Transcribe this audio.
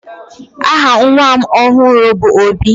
aha nwa m ọhụrụ bu Obi